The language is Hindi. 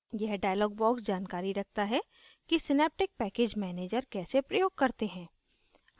यह dialog box जानकारी रखता है कि synaptic package manager कैसे प्रयोग करते हैं